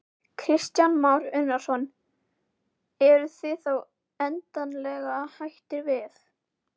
Kristján Már Unnarsson: Eruð þið þá endanlega hættir við?